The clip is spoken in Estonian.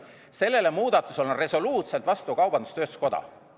Sellele muudatusele on resoluutselt vastu kaubandus-tööstuskoda.